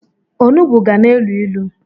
Onugbo ga na-elu ilu.